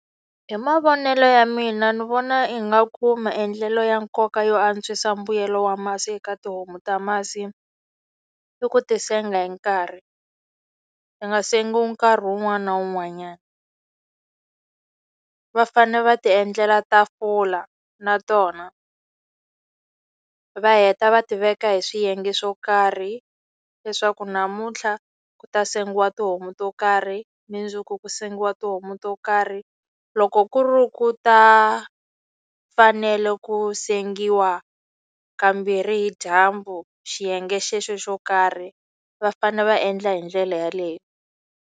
Hi mavonelo ya mina ni vona ingaku maendlelo ya nkoka yo antswisa mbuyelo wa masi eka tihomu ta masi, i ku ti senga hi nkarhi. Ti nga sengiwi nkarhi wun'wana na wun'wanyana. Va fanele va ti endlela tafula na tona, va heta va tiveka hi swiyenge swo karhi leswaku namuntlha ku ta sengiwa tihomu to karhi, mundzuku ku sengiwa tihomu to karhi. Loko ku ri ku ta fanele ku sengiwa kambirhi hi dyambu xiyenge xexo xo karhi, va fanele va endla hi ndlela yeleyo.